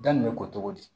Da nin bɛ ko cogo di